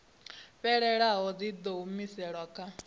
fhelelaho dzi ḓo humiselwa kha